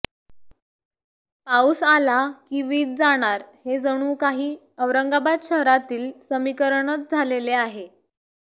पाऊस आला की वीज जाणार हे जणू काही औरंगाबाद शहरातील समीकरणच झालेले आहे